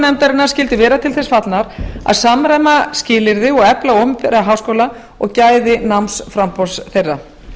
nefndarinnar skyldu vera til þess fallnar að samræma skilyrði og efla opinbera háskóla og gæði námsframboðs þeirra